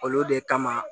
Olu de kama